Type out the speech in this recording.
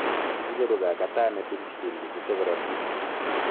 icheru kaagaataneet insulin chechute korotik